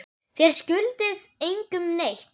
Þér skuldið engum neitt.